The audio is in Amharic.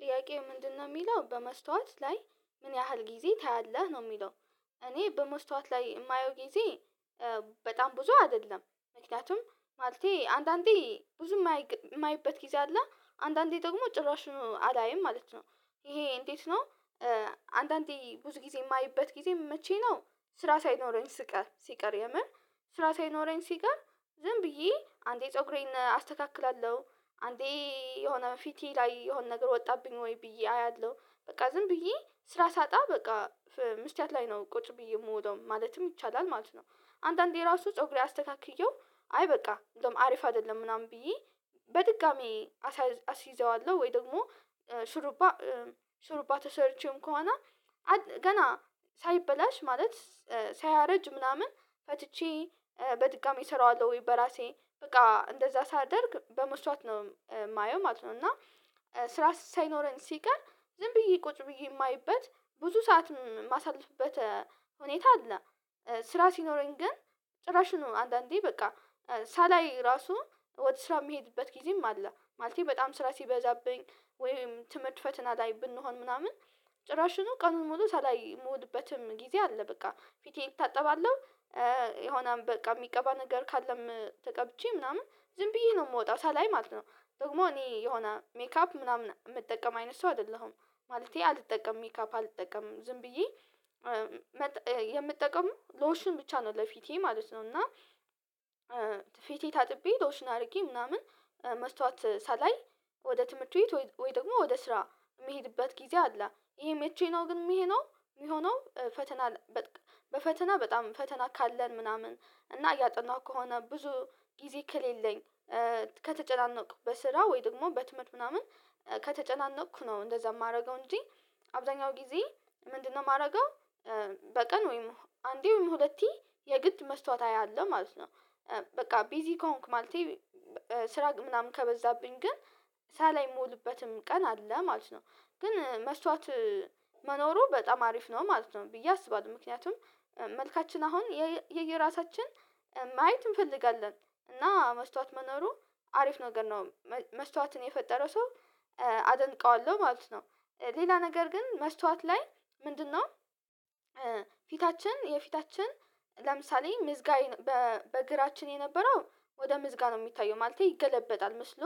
ጥያቄው ምንድነው የሚለው በመስታወት ላይ ምን ያህል ጊዜ ታያለህ ነው የሚለው? እኔ በመስታወት ላይ የማየው ጊዜ በጣም ብዙ አይደለም። ምክንያቱም ማለቴ አንዳንዴ ብዙ የማይበት ጊዜ አለ አንዳንዴ ደግሞ ጭራሽ አላይም ማለት ነው። ይሄ እንዴት ነው? አንዳንዴ ብዙ ጊዜ የማይበት ጊዜ መቼ ነው? ስራ ሳይኖረኝ ስቀር ሲቀር የምር ስራ ሳይኖረኝ ሲቀር ዝም ብዬ አንዴ ፀጉሬን አስተካክላለሁ አንዴ የሆነ ፊቴ ላይ የሆነ ነገር ወጣብኝ ወይ ብዬ አያለሁ። በቃ ዝም ብዬ ስራ ሳጣ በቃ መስትያት ላይ ነው ቁጭ ብዬ የምውለው ማለትም ይቻላል ማለት ነው። አንዳንዴ ራሱ ፀጉሬ አስተካክዬው አይ በቃ እንደውም አሪፍ አይደለም ምናምን ብዬ በድጋሚ አስይዘዋለሁ ወይ ደግሞ ሽሩባ ሽሩባ ተሰርቼም ከሆነ ገና ሳይበላሽ ማለት ሳያረጅ ምናምን ፈትቼ በድጋሚ እሰራዋለሁ ወይ በራሴ በቃ እንደዛ ሳደርግ በመስተዋት ነው የማየው ማለት ነው። እና ስራ ሳይኖረን ሲቀር ዝም ብዬ ቁጭ ብዬ የማየበት ብዙ ሰዓት የማሳልፍበት ሁኔታ አለ። ስራ ሲኖረኝ ግን ጭራሽ ነው አንዳንዴ በቃ ሳላይ ራሱ ወደ ስራ የሚሄድበት ጊዜም አለ ማለቴ በጣም ስራ ሲበዛብኝ ወይም ትምህርት ፈተና ላይ ብንሆን ምናምን ጭራሽኑ ቀኑን ሙሉ ሳላይ የምውልበትም ጊዜ አለ በቃ ፊቴን እታጠባለሁ የሆነ በቃ የሚቀባ ነገር ካለም ተቀብቼ ምናምን ዝም ብዬ ነው የምወጣው ሳላይ ማለት ነው። ደግሞ እኔ የሆነ ሜካፕ ምናምን የምጠቀም አይነት ሰው አይደለሁም። ማለቴ አልጠቀምም ሜካፕ አልጠቀምም ዝም ብዬ የምጠቀምው ሎሽን ብቻ ነው ለፊቴ ማለት ነው። እና ፊቴ ታጥቤ ሎሽን አድርጌ ምናምን መስታወት ሳላይ ወደ ትምህርት ቤት ወይ ደግሞ ወደ ስራ የሚሄድበት ጊዜ አለ። ይሄ መቼ ነው የሚሆነው? ፈተና በፈተና በጣም ፈተና ካለን ምናምን እና እያጠናሁ ከሆነ ብዙ ጊዜ ከሌለኝ ከተጨናነቅኩ በስራ ወይ ደግሞ በትምህርት ምናምን ከተጨናነቅኩ ነው እንደዛ የማደርገው እንጂ አብዛኛው ጊዜ ምንድነው የማደርገው? በቀን ወይም አንዴ ወይም ሁለቴ የግድ መስታወት አለ ማለት ነው። በቃ ቢዚ ከሆንክ ማለቴ ስራ ምናምን ከበዛብኝ ግን ሳላይ የምውልበትም ቀን አለ ማለት ነው። ግን መስታወት መኖሩ በጣም አሪፍ ነው ማለት ነው ብዬ አስባለሁ ምክንያቱም መልካችን አሁን የየራሳችን ማየት እንፈልጋለን እና መስታወት መኖሩ አሪፍ ነገር ነው መስታወትን የፈጠረ ሰው አደንቀዋለሁ ማለት ነው። ሌላ ነገር ግን መስታወት ላይ ምንድነው? ፊታችን የፊታችን ለምሳሌ ምዝጋይ በግራችን የነበረው ወደ ምዝጋ ነው የሚታየው ማለቴ ይገለበጣል ምስሉ